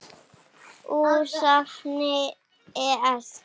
Úr safni ES.